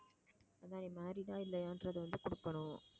married ஆ இல்லையான்றதை வந்து கொடுக்கணும்